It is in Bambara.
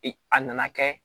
a nana kɛ